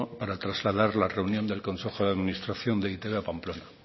para trasladar la reunión del consejo de administración de e i te be a pamplona